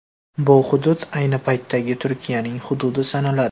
Bu hudud ayni paytdagi Turkiyaning hududi sanaladi.